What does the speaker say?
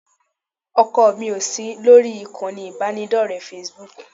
ọkọ mi ò sí lórí ìkànnì ìbánidọ́rẹ̀ẹ́ Facebook